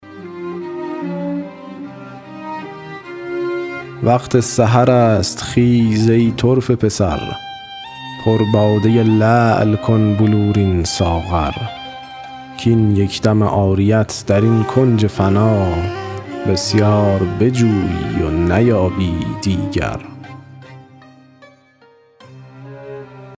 وقت سحر است خیز ای طرفه پسر پر باده لعل کن بلورین ساغر کاین یک دم عاریت در این کنج فنا بسیار بجویی و نیابی دیگر